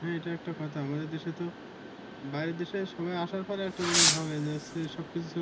হ্যা এটা একটা কথা আমাদের দেশে তো। বাহিরের দেশে সবাই আসার পরে একটা জিনিস ভাবে যে সব কিছু